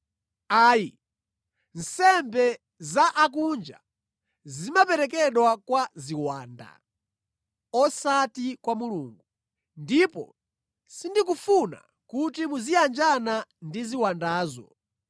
Ayi. Nsembe za osakhulupirira zimaperekedwa kwa ziwanda, osati kwa Mulungu, ndipo sindikufuna kuti muziyanjana ndi ziwandazo.